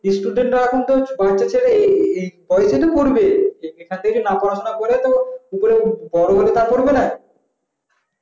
student তো এখন তো কয়েক তা ছেলে পড়া সোনা তো করবে এখান থেকে পড়াশোনা না করে তো বড়ো হলে তো করবে না